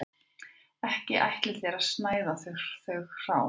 Ekki ætlið þér að snæða þau hrá